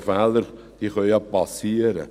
Und Fehler können ja geschehen.